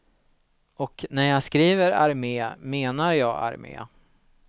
Och när jag skriver armé menar jag armé.